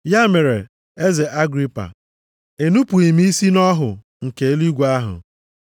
“Ya mere, eze Agripa, enupughị m isi nʼọhụ nke eluigwe ahụ.